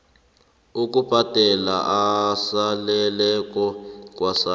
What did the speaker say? ukubhadela esaleleko kwasars